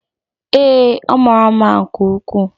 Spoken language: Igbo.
Ee, ọ mara mma nke ukwuu.